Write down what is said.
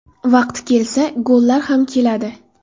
Vaqti kelsa, gollar ham keladi.